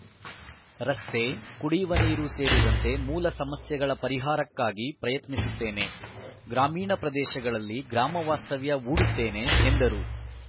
ರಸ್ತೆ ಕುಡಿಯುವ ನೀರು ಸೇರಿದಂತೆ ಮೂಲ ಸಮಸ್ಯೆಗಳ ಪರಿಹಾರಕ್ಕಾಗಿ ಪ್ರಯತ್ನಿಸುತ್ತೇನೆ ಗ್ರಾಮೀಣ ಪ್ರದೇಶಗಳಲ್ಲಿ ಗ್ರಾಮವಾಸ್ತವ್ಯ ಹೂಡುತ್ತೇನೆ ಎಂದರು